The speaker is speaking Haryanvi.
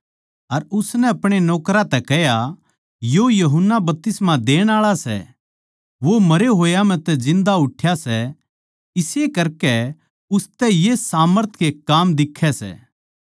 अर उसनै अपणे नौकरां तै कह्या यो यूहन्ना बपतिस्मा देण आळा सै वो मरे होया म्ह तै जिन्दा उठ्या सै इस्से करकै उसतै ये सामर्थ के काम दिक्खै सै